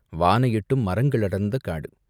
வானை எட்டும் மரங்கள் அடர்ந்த காடு.